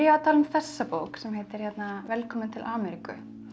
tala um þessa bók sem heitir velkomin til Ameríku